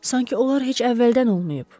Sankı onlar heç əvvəldən olmayıb.